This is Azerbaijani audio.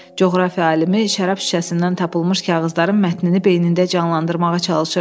Coğrafiya alimi şərab şüşəsindən tapılmış kağızların mətnini beynində canlandırmağa çalışırdı.